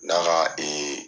N'a na ee